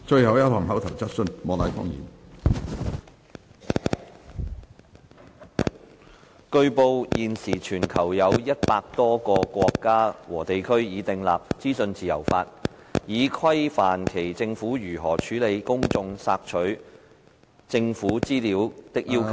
主席，據報，現時全球有100多個國家和地區已訂立資訊自由法，以規範其政府如何處理公眾索取政府資料的要求。